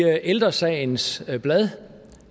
af ældre sagens blad